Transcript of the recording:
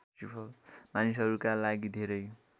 मानिसहरूका लागि धेरै